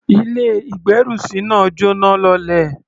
Ilé-ìgbérùsí náà jọ́náh lọlẹ̀.